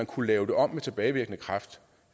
kunne lave det om med tilbagevirkende kraft